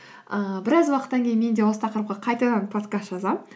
ыыы біраз уақыттан кейін мен де осы тақырыпқа қайтадан подкаст жазамын